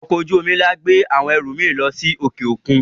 Ọkọ̀-ojú omi ńlá gbé àwọn ẹrù mi lọ sí òkè-òkun.